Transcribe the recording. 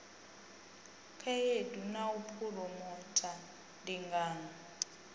khaedu na u phuromotha ndingano